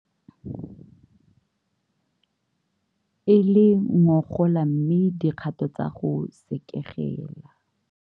E le ngogola mme dikgato tsa go sekegela.